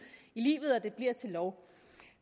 i livet og at det bliver til lov